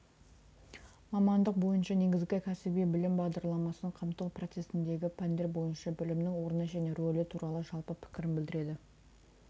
мамандық бойынша негізгі кәсіби білім бағдарламасын қамту процесіндегі пәндер бойынша білімнің орны және рөлі туралы жалпы пікірін білдіреді